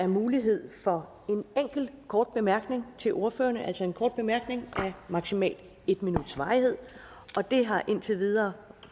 mulighed for en enkelt kort bemærkning til ordførerne altså en kort bemærkning af maksimalt en minuts varighed det har indtil videre